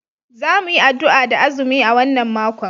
Za mu yi addu'a da azumi a wannan makon